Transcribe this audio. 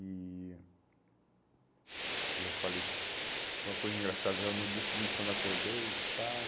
E eu falei, foi uma coisa engraçada, no dia seguinte quando eu acordei e tal,